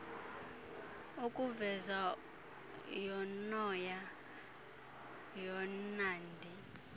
ukuveza urnoya ornnandi